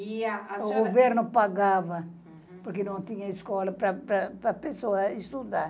E a a senhora... O governo pagava, uhum porque não tinha escola para para a pessoa estudar.